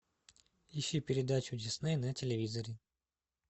ищи передачу дисней на телевизоре